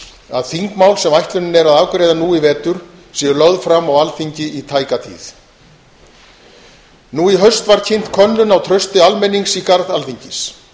að þingmál sem ætlunin er að afgreiða nú í vetur verði lögð fram á alþingi í tæka tíð nú í haust var kynnt könnun á trausti almennings í garð alþingis